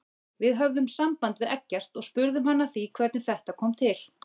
Við höfðum samband við Eggert og spurðum hann að því hvernig þetta kom til?